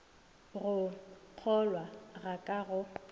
go kgolwa ga ka go